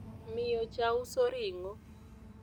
miyo cha uso ringo